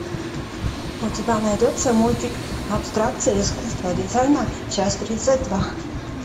у тебя найдется мультик абстракция искусства дизайна часть тридцать два